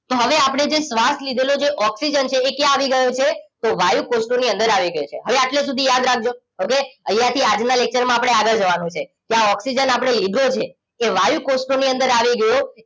તો હવે આપણે જે શ્વાસ લીધેલો જે ઓક્સિજન છે એ ક્યાં આવી ગયો છે તો વાયુકોષોની અંદર આવી ગયો છે હવે આટલે સુધી યાદ રાખજો okay અહીંયા થી આગળના lecture માં આપણે આગળ જવાનું છે કે આ ઓક્સિજન આપણે લીધો છે એ વાયુકોષોની અંદર આવી ગયો